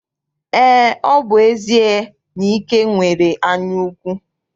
Eé, ọ bụ ezie na Ike nwere anyaukwu.